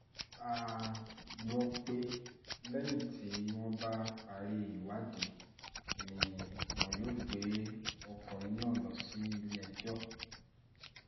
a gbọ́ pé lẹ́yìn tí wọ́n bá parí ìwádìí ni wọn yóò gbé ọkùnrin náà lọ sílé-ẹjọ́